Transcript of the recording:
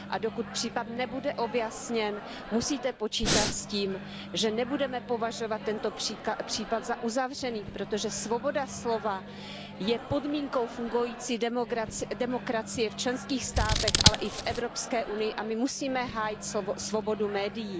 Dokud případ nebude objasněn, musíte počítat s tím, že nebudeme považovat tento případ za uzavřený, protože svoboda slova je podmínkou fungující demokracie v členských státech, ale i v Evropské unii, a my musíme hájit svobodu médií.